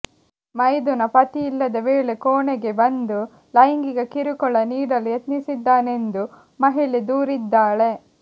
ಮೈದುನ ಪತಿಯಿಲ್ಲದ ವೇಳೆ ಕೋಣೆಗೆ ಬಂದು ಲೈಂಗಿಕ ಕಿರುಕುಳ ನೀಡಲು ಯತ್ನಿಸಿದ್ದಾನೆಂದು ಮಹಿಳೆ ದೂರಿದ್ದಾಳೆ